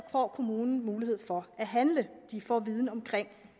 får kommunen mulighed for at handle de får viden om